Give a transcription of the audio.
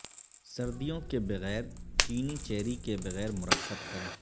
سردیوں کے بغیر چینی چیری کے بغیر مرکب کریں